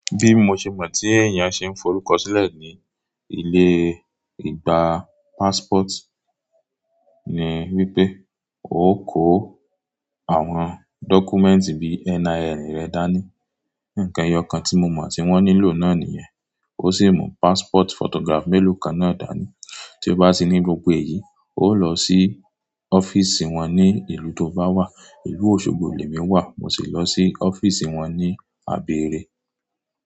Bí mo ṣe mọ̀ tí èèyàn ṣe ń forúkọ sílẹ̀ ní ilé ìgbà passport ni wípé, o kó àwọn dọ́kúmẹ̀ǹtì bí NIN rẹ dání. Ǹkan ẹyọ kan tí mo mọ̀ tí wón nílò náà nìyẹn. Ó sì mú passport photograph mélòó kan náà dání. Tí o bá sí ní gbogbo èyí, o o lọ sí ọ́fíìsì wọn ní ìlú tó bá wà. Ìlú Òṣogbo ilé mi wà, mo sì lọ sí ọ́fíìsì wọn ní Abẹ́rẹ́.